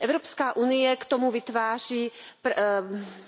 Evropská unie k tomu vytváří